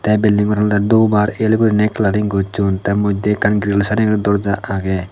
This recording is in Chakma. te building ghoran olode dhup ar el guriney colouring gochun the modde ekkan grills areyi guri doorja agey.